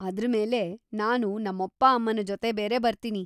ಅದ್ರ ಮೇಲೆ ನಾನು ನಮ್ಮಪ್ಪ ಅಮ್ಮನ ಜೊತೆ ಬೇರೆ ಬರ್ತೀನಿ.